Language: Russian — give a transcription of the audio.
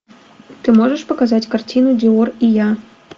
ты можешь показать картину диор и я